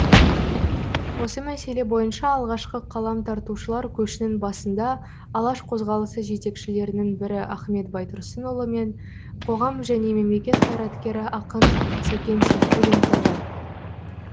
осы мәселе бойынша алғашқы қалам тартушылар көшінің басында алаш қозғалысы жетекшілерінің бірі ахмет байтұрсынұлы пен қоғам және мемлекет қайраткері ақын сәкен сейфуллин тұрды